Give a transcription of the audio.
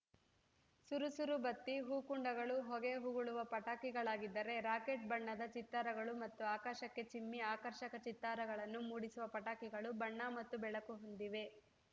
ಸುರುಸುರು ಬತ್ತಿ ಹೂಕುಂಡಗಳು ಹೊಗೆ ಉಗುಳುವ ಪಟಾಕಿಗಳಾಗಿದ್ದರೆ ರಾಕೆಟ್‌ ಬಣ್ಣದ ಚಿತ್ತಾರಗಳು ಮತ್ತು ಆಕಾಶಕ್ಕೆ ಚಿಮ್ಮಿ ಆಕರ್ಷಕ ಚಿತ್ತಾರಗಳನ್ನು ಮೂಡಿಸುವ ಪಟಾಕಿಗಳು ಬಣ್ಣ ಮತ್ತು ಬೆಳಕು ಹೊಂದಿವೆ